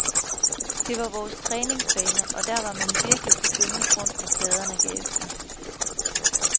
Det var vores træningsbane, og der var man virkelig på gyngende grund når pladerne gav efter.